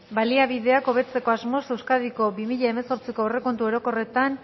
baliabideak hobetzeko asmoz euskadiko bi mila hemezortziko aurrekontu orokorretan